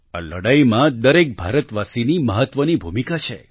આ લડાઈમાં દરેક ભારતવાસીની મહત્વની ભૂમિકા છે